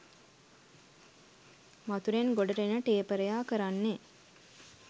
වතුරෙන් ගොඩට එන ටේපරයා කරන්නේ